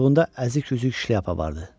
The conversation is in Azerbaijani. Qoltuğunda əzik üzük şlyapa vardı.